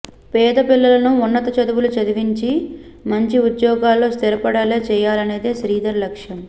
పేద పిల్లలను ఉన్నత చదువులు చదివించి మంచి ఉద్యోగాల్లో స్థిరపడేలా చేయాలనేది శ్రీధర్ లక్ష్యం